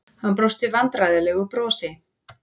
Hann brosti vandræðalegu brosi.